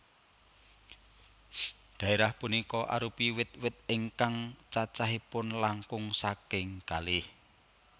Dhaérah punika arupi wit wit ingkang cacahipun langkung saking kalih